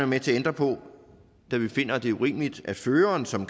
med til at ændre på da vi finder at det er urimeligt at føreren som